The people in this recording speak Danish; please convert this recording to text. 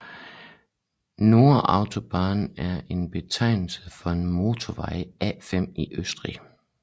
Nord Autobahn er en betegnelse for motorvej A5 i Østrig